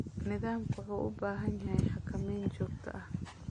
Nidaamku wuxuu u baahan yahay xakameyn joogto ah.